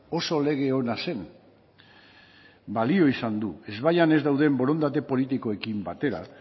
oso lege ona zen balio izan du ezbaietan ez dauden borondate politikoekin batera